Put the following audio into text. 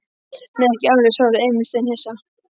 Nei, ekki alveg, svaraði Emil steinhissa.